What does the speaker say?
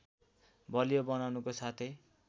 बलियो बनाउनुको साथै